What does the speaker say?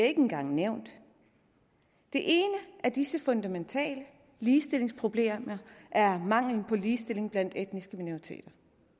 ikke engang nævnt det ene af disse fundamentale ligestillingsproblemer er mangelen på ligestilling blandt etniske minoriteter